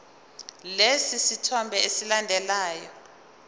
lesi sithombe esilandelayo